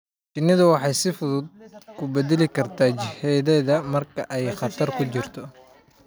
Shinnidu waxay si fudud u beddeli kartaa jihadeeda marka ay khatar ku jirto.